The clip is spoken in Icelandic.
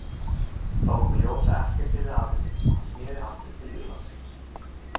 Þá kom í ljós að ekkert yrði af henni og hann sneri aftur til Írlands.